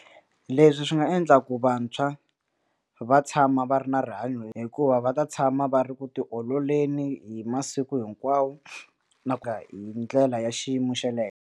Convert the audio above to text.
Leswi swi nga endla ku vantshwa va tshama va ri na rihanyo hikuva va ta tshama va ri ku tiololeni hi masiku hinkwawo na ku ya hi ndlela ya xiyimo xa le henhla.